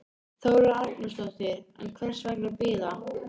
Þóra Arnórsdóttir: En hvers vegna bíða?